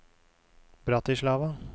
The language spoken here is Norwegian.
Bratislava